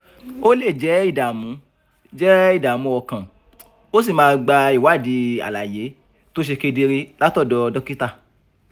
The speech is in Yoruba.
o lè jẹ́ ìdààmú jẹ́ ìdààmú ọkàn ó sì máa gba ìwádìí àlàyé tó ṣe kedere látọ̀dọ̀ dókítà